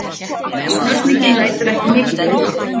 Spurningin lætur ekki mikið yfir sér.